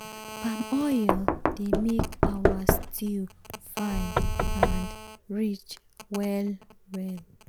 palm oil dey make our stew fine and rich well well.